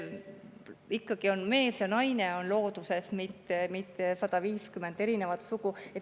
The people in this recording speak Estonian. Ikkagi mees ja naine on looduses, mitte 150 erinevat sugu.